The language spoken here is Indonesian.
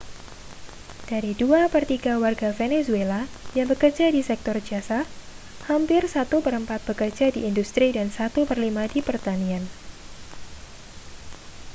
dari dua per tiga warga venezuela yang bekerja di sektor jasa hampir satu per empat bekerja di industri dan satu per lima di pertanian